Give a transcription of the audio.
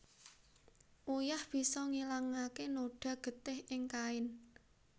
Uyah bisa ngilangaké noda getih ing kain